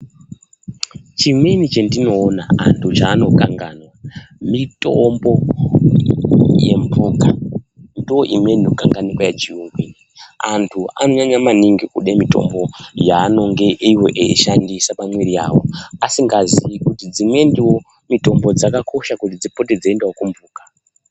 Chimweni chendinoona anhu vechikanganwa mitombo yemhuka. Nedzimweni inonyanya kukanganikwa yechiyungu iyi. Aanhu anonyanye kude mitombo yavanenge veishandisa pamwiri dzavo asingazii kuti dzimweniwo mitombo dzakakoshawo kuti dziende kumhuka.